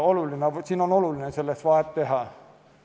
Siin on oluline vahet teha.